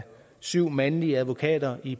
syv mandlige advokater i